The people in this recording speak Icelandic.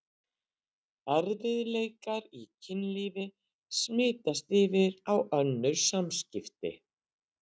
Erfiðleikar í kynlífi smitast yfir á önnur samskipti.